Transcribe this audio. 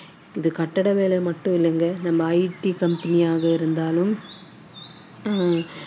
ஆஹ் ஏன் இப்படி ஒரு பாகுபாடு அப்படிங்குறது தெரியல ஆஹ் இது வந்து ஒரு சின்ன ஒரு கட்டட வேலை அப்படின்னு பார்த்தோம்னா இந்த கட்டட வேலை மட்டும் இல்லைங்க நம்ம IT company யாக இருந்தாலும்